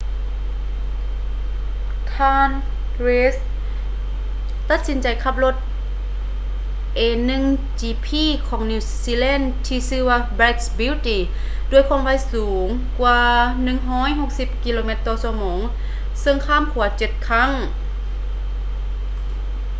ທ່ານ reid ຕັດສິນໃຈຂັບລົດ a1gp ຂອງນິວຊີແລນທີ່ຊື່ວ່າ black beauty ດ້ວຍຄວາມໄວສູງກວ່າ 160 ກມ/ຊມ ເຊິ່ງຂ້າມຂົວເຈັດຄັ້ງ